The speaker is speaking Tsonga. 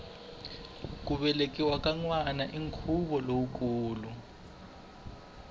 ku velekiwa ka nwana i nkhuvo lowukulu